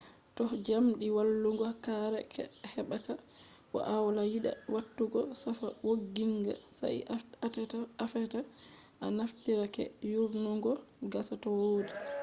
toh jamdi wallungo kare hebaka bo awala yida watugo safa wogginga sai atefa a naftira keeke yorungo gasa to wodi